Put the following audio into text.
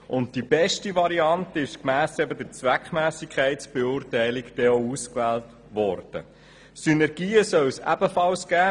Gemäss der Zweckmässigkeitsbeurteilung wurde denn auch die beste Variante ausgewählt.